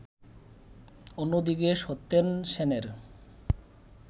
অন্যদিকে সত্যেন সেনের